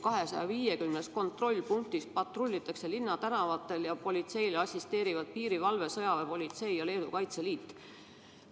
250 kontrollpunktis patrullitakse linnatänavatel ja politseile assisteerivad piirivalve, sõjaväepolitsei ja kaitseliit.